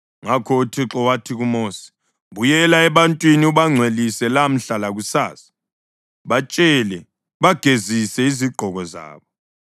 Ngakho uThixo wathi kuMosi, “Buyela ebantwini ubangcwelise lamhla lakusasa. Batshele bagezise izigqoko zabo